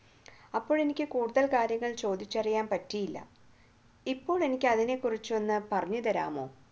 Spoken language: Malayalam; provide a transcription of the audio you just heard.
അപ്പോൾ എനിക്ക് കൂടുതൽ കാര്യങ്ങൾ ചോദിച്ചറിയാൻ പറ്റിയില്ല ഇപ്പോൾ എനിക്ക് അതിനെക്കുറിച്ച് ഒന്നു പറഞ്ഞുതരാമോ